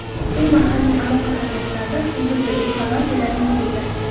U mahalliy aloqa tarmoqlaridan uzildi, deb xabar beradi Meduza.